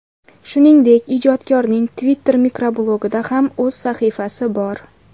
Shuningdek, ijodkorning Twitter mikroblogida ham o‘z sahifasi bor.